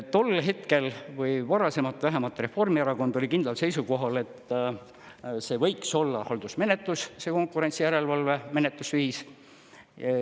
Tol hetkel või varasemalt vähemalt Reformierakond oli kindlal seisukohal, et see võiks olla haldusmenetlus see konkurentsijärelevalve menetlusviis.